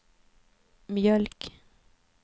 mjölk